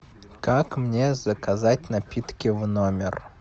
как мне заказать напитки в номер